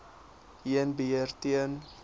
heen beheer ten